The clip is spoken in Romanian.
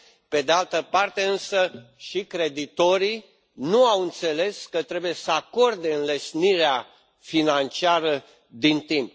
Pe de altă parte însă, nici creditorii nu au înțeles că trebuie să acorde înlesnirea financiară din timp.